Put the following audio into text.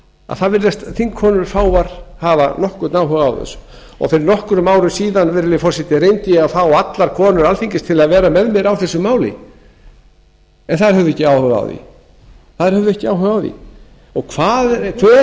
að það virðast fáar þingkonur hafa nokkurn áhuga þá þessu og fyrir nokkrum árum síðan virðulegi forseti reyndi ég að fá allar konur alþingis til að vera með mér á þessu máli en þær höfðu ekki áhuga á því hver